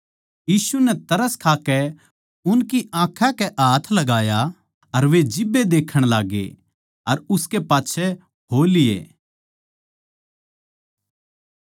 यीशु नै तरस खाकै उनकी आँखां कै हाथ लगाया अर वे जिब्बे देखण लाग्गै अर उसकै पाच्छै हो लिये